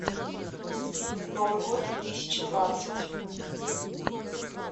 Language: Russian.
новый год две тысячи двадцать